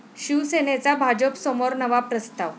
शिवसेनेचा भाजपसमोर नवा प्रस्ताव